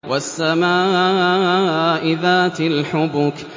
وَالسَّمَاءِ ذَاتِ الْحُبُكِ